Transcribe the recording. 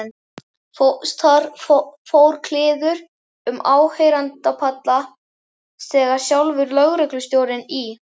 Það fór kliður um áheyrendapallana þegar sjálfur lögreglustjórinn í